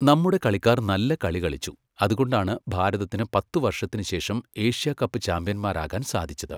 നമ്മുടെ കളിക്കാർ നല്ല കളി കളിച്ചു, അതുകൊണ്ടാണ് ഭാരതത്തിന് പത്തു വർഷത്തിനുശേഷം എഷ്യാ കപ്പ് ചാമ്പ്യന്മാരാകാൻ സാധിച്ചത്.